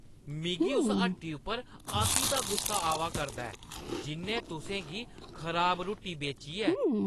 मिगी उस हट्टी उप्पर अति दा गुस्सा आवा करदा ऐ जिʼन्नै तुसें गी खराब रुट्टी बेची ऐ।